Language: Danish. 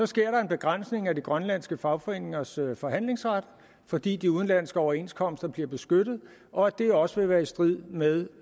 sker der en begrænsning af de grønlandske fagforeningers forhandlingsret fordi de udenlandske overenskomster bliver beskyttet og at det også vil være i strid med